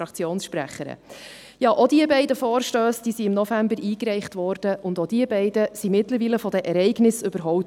Auch diese beiden Vorstösse wurden im November eingereicht und auch diese beiden wurden mittlerweile von den Ereignissen überholt.